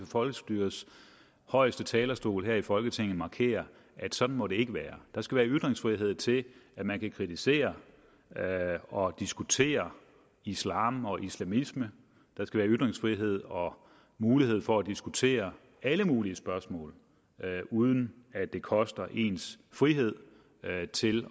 folkestyrets højeste talerstol her i folketinget markere at sådan må det ikke være der skal være ytringsfrihed til at man kan kritisere og diskutere islam og islamisme der skal være ytringsfrihed og mulighed for at diskutere alle mulige spørgsmål uden at det koster ens frihed til